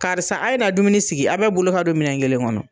Karisa a ye na dumuni sigi , a bɛɛ bolo ka don minɛn kelen kɔnɔ.